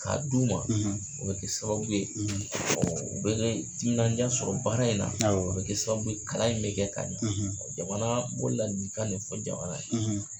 K'a d'u ma o bɛ kɛ sababu ye u bɛ timinaja sɔrɔ baara in na a bɛ kɛ sababu ye kalan in bɛ kɛ ka ɲa jamana n b'o ladilikan de fɔ jamana ye.